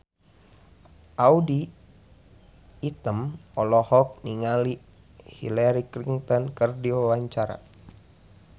Audy Item olohok ningali Hillary Clinton keur diwawancara